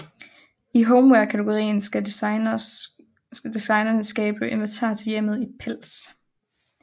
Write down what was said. I home wear kategorien skal designerne skabe inventar til hjemmet i pels